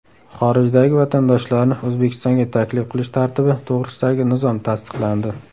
Xorijdagi vatandoshlarni O‘zbekistonga taklif qilish tartibi to‘g‘risidagi nizom tasdiqlandi.